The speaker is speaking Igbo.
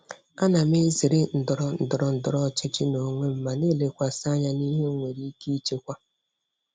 Ana m ezere ndọrọ ndọrọ ndọrọ ọchịchị n'onwe m ma na-elekwasị anya n'ihe m nwere ike ịchịkwa.